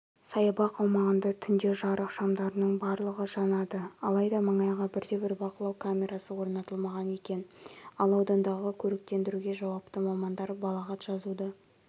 саябақ аумағында түнде жарық шамдарының барлығы жанады алайда маңайға бірде-бір бақылау камерасы орнатылмаған екен ал аудандағы көріктендіруге жауапты мамандар балағат жазуды